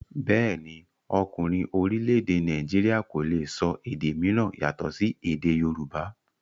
Bẹ́ẹ̀ni, ọkùnrin orílẹ̀-èdè Nàìjíríà kò le sọ èdè mìíràn yàtọ̀ sí èdè yorùbá.